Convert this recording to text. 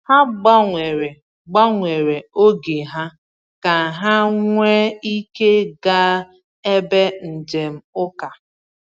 Ha gbanwere gbanwere oge ha ka ha nwee ike gaa ebe njem uka.